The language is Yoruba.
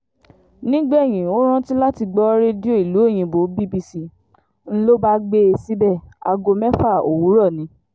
nígbẹ̀yìn ó rántí láti gbọ́ rédíò ìlú òyìnbó bbc ń lọ bá gbé e síbẹ̀ aago mẹ́fà òwúrọ̀ ni